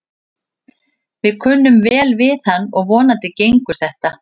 Við kunnum vel við hann og vonandi gengur þetta.